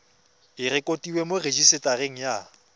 e rekotiwe mo rejisetareng ya